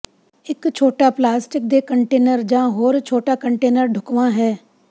ਇਕ ਛੋਟਾ ਪਲਾਸਟਿਕ ਦੇ ਕੰਟੇਨਰ ਜਾਂ ਹੋਰ ਛੋਟਾ ਕੰਟੇਨਰ ਢੁਕਵਾਂ ਹੈ